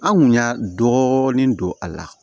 An kun y'a dɔɔni don a la